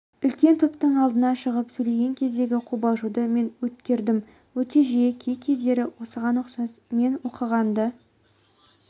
үлкен топтың алдына шығып сөйлеген кездегі қобалжуды мен өткердім өте жиі кей-кездері осыған ұқсас мен оқығанды